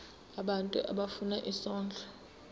abantu abafuna isondlo